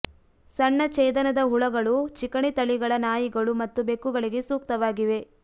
ಸಣ್ಣ ಛೇದನದ ಹುಳಗಳು ಚಿಕಣಿ ತಳಿಗಳ ನಾಯಿಗಳು ಮತ್ತು ಬೆಕ್ಕುಗಳಿಗೆ ಸೂಕ್ತವಾಗಿವೆ